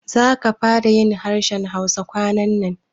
Za ka fara yin harshen Hausa kwanannan?